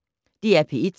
DR P1